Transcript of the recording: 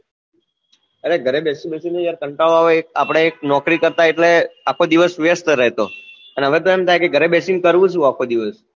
અરે ઘરે બેસી બેસી ને કંટાળો આવે આપડે એ નોકરી કરતા એટલે આખી દિવસ વ્યસ્ત રહેતો અને હવે તો એમ થાય કે ઘરે બેસી ને કરવું શું આખો દિવસ